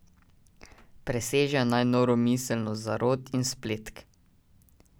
Presežejo naj noro miselnost zarot in spletk.